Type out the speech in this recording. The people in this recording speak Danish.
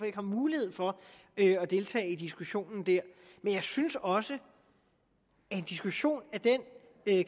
ikke har mulighed for at deltage i diskussionen der men jeg synes også at en diskussion af den